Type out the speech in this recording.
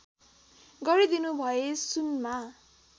गरिदिनु भए सुनमा